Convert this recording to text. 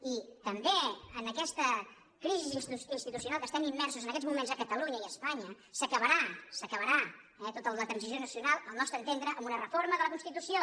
i també en aquesta crisi institucional en què estem im·mersos en aquests moments a catalunya i a espanya s’acabarà s’acabarà eh tota la transició nacional al nostre entendre amb una reforma de la constitució